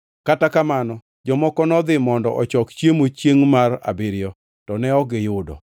Kata kamano, jomoko nodhi mondo ochok chiemo chiengʼ mar abiriyo, to ne ok giyudo.